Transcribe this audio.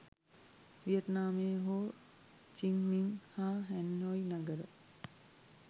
වියට්නාමයේ Ho Chi Minh හා Hanoi නගර